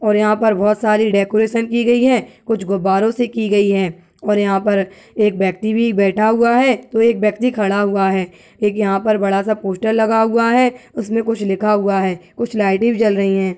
और यहाँ पर बहोत सारी डेकोरेशन की गई है। कुछ गुब्बारों से की गई है और यहाँ पर एक व्यक्ति भी बैठा हुआ है तो एक व्यक्ति खड़ा हुआ है। एक यहाँ पर बड़ा सा पोस्टर लगा हुआ है। उसमें कुछ लिखा हुआ है। कुछ लाइटें भी जल रही हैं।